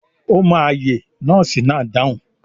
Ó máa yè nọ́ọ́sì náà dáhùn.